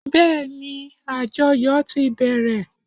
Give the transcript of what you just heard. Bẹ́ẹ́ni, àjọyò ti bẹ̀rẹ̀.